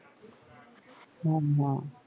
হ্যাঁ হ্যাঁ